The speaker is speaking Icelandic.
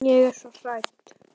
Ég er svo hrædd.